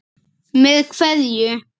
Með kveðju.